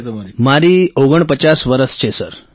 રાજેશ પ્રજાપતિઃ મારી ઓગણપચાસ વર્ષ છે